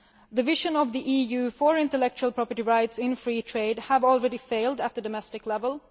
The vision of the EU for intellectual property rights in free trade has already failed at domestic level.